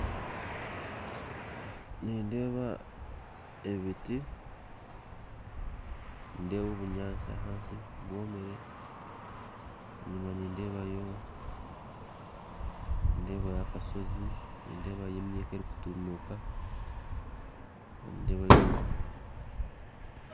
Nindeeba ebiti nindeeba obunyansi hansi bwomere enyuma nindebayo akashozi nindebayo emika erukutumuuka